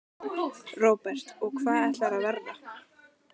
Róbert: Og hvað ætlarðu að verða?